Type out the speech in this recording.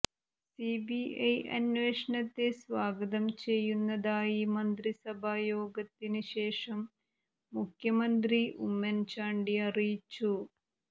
CBI അന്വേഷണത്തെ സ്വാഗതം ചെയ്യുന്നതായി മന്ത്രിസഭാ യോഗത്തിന് ശേഷം മുഖ്യമന്ത്രി ഉമ്മൻ ചാണ്ടി അറിയിച്ചു